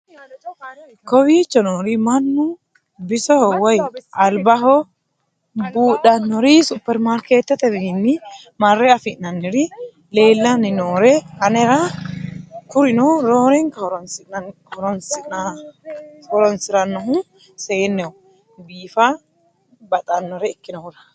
kowiicho noori mannu bisoho woy albaho buudhannori superimaariketetewiinni marre anfanniri leellanni nooe anra kurino roorennaka horoonsirannohu seenneho biifa baxxannore ikkinohura